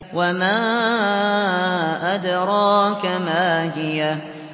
وَمَا أَدْرَاكَ مَا هِيَهْ